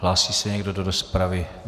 Hlásí se někdo do rozpravy?